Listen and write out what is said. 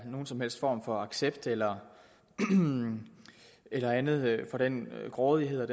nogen som helst form for accept eller eller andet af den grådighed og